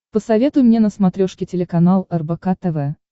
посоветуй мне на смотрешке телеканал рбк тв